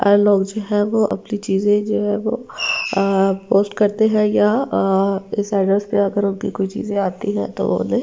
अ लोग जो है वो अपनी चीजें जो है वो पोस्ट करते हैं या इस एड्रेस पे अगर उनकी कोई चीजें आती है तो उन्हे --